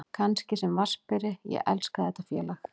Kannski sem vatnsberi, ég elska þetta félag.